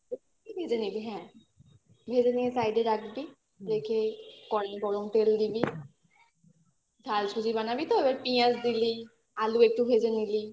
হ্যাঁ ভেজে নিয়ে side এ রাখবি রেখে করাতে গরম তেল দিবি ঝাল সুজি বানাবি তো এবার পেঁয়াজ দিলি আলু একটু ভেজে নিলি